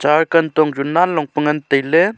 kantong chu nanlong pe ngan tailey.